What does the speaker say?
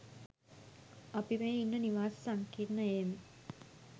අපි මේ ඉන්න නිවාස සංකීර්ණයේම